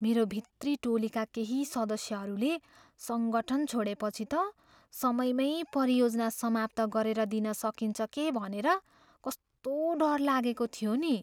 मेरो भित्री टोलीका केही सदस्यहरूले सङ्गठन छोडेपछि त समयमै परियोजना समाप्त गरेर दिन सकिन्छ के भनेर कस्तो डर लागेको थियो नि।